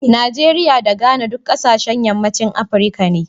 Najeriya da Ghana duk kasashen yammacin Afirka ne.